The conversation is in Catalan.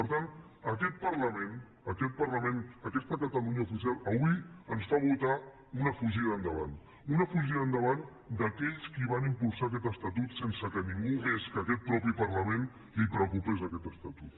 per tant aquest parlament aquesta catalunya oficial avui ens fa votar una fugida endavant una fugida endavant d’aquells que van impulsar aquest estatut sense que a ningú més que a aquest mateix parlament li preocupés aquest estatut